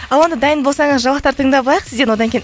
ал онда дайын болсаңыз жаңалықтар тыңдап алайық сізден одан кейін